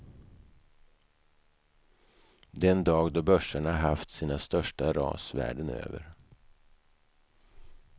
Den dag då börserna haft sina största ras världen över.